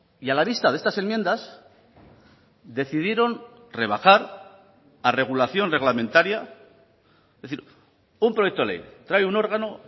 y a la vista de estas enmiendas decidieron rebajar a regulación reglamentaria es decir un proyecto ley trae un órgano